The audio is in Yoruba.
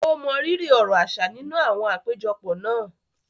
O mọrírì ọrọ̀ aṣa ninu àwọn apejọpọ náà.